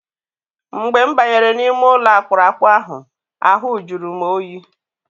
Mgbe m banyere n'ime ụlọ akpụrụakpụ ahụ, ahụ jụrụ oyi.